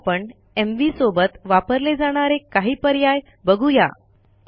आता आपण एमव्ही सोबत वापरले जाणारे काही पर्याय बघू या